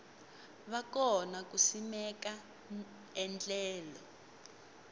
va kona ku simeka endlelo